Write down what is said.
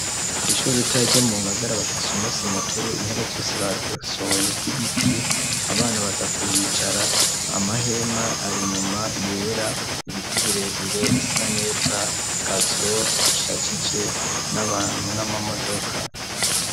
Kw'ishuri ritara ryo mu ngagara bafise umusi mukuru intebe zose bazihusohoye zibiti abana baza kuhicara amahema ari inyuma yera ibiti birebire bisa neza gazo ishajije n'abantu n'amamodoka.